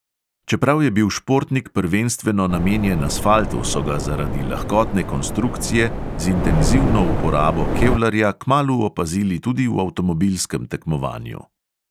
Čeprav je bil športnik prvenstveno namenjen asfaltu, so ga zaradi lahkotne konstrukcije z intenzivno uporabo kevlarja kmalu opazili tudi v avtomobilskem tekmovanju.